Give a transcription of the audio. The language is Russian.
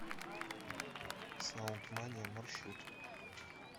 саунд мания маршрут